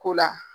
Ko la